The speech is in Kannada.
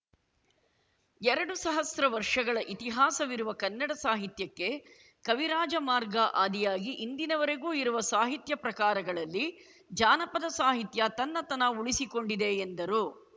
ಎರಡು ಸಹಸ್ರ ವರ್ಷಗಳ ಇತಿಹಾಸವಿರುವ ಕನ್ನಡ ಸಾಹಿತ್ಯಕ್ಕೆ ಕವಿರಾಜಮಾರ್ಗ ಆದಿಯಾಗಿ ಇಂದಿನವರೆಗೂ ಇರುವ ಸಾಹಿತ್ಯ ಪ್ರಕಾರಗಳಲ್ಲಿ ಜಾನಪದ ಸಾಹಿತ್ಯ ತನ್ನತನ ಉಳಿಸಿಕೊಂಡಿದೆ ಎಂದರು